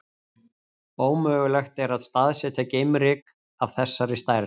Ómögulegt er að staðsetja geimryk af þessari stærð.